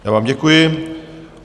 Já vám děkuji.